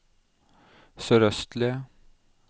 sørøstlige